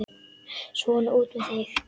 Svona, út með þig!